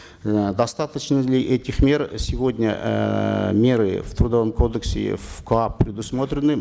э достаточно ли этих мер сегодня эээ меры в трудовом кодексе в коап предусмотрены